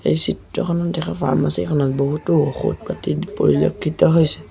এই চিত্ৰখনত দেখা ফাৰ্মাচীখনত বহুতো ঔষধ পাতি পৰিলক্ষিত হৈছে।